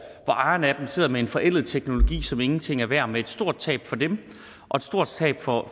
ejeren af dem sidder med en forældet teknologi som ingenting er værd og med et stort tab for dem og et stort tab for